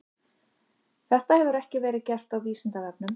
Þetta hefur ekki verið gert á Vísindavefnum.